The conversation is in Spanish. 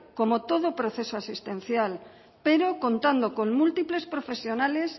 como todo proceso asistencial pero contando con múltiples profesionales